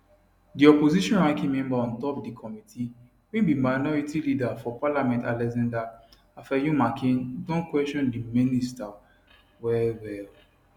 di opposition ranking member on top di committee wey be minority leader for parliament alexander afenyomarkin don kwesion di minister well well